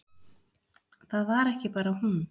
Það var ekki bara hún.